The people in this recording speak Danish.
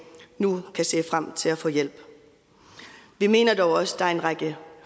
nu kan se frem til at få hjælp vi mener dog også at der er en række